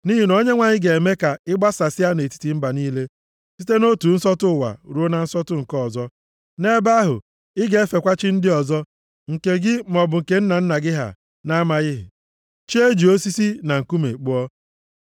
Nʼihi na Onyenwe anyị ga-eme ka ị gbasasịa nʼetiti mba niile, site nʼotu nsọtụ ụwa ruo na nsọtụ nke ọzọ. Nʼebe ahụ, ị ga-efekwa chi ndị ọzọ, nke gị, maọbụ nna nna gị ha, na-amaghị, chi e ji osisi na nkume kpụọ.